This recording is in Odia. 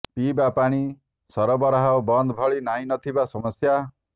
ପିଇବା ପାଣି ସରବରାହ ବନ୍ଦ ଭଳି ନାହିଁ ନଥିବା ସମସ୍ୟା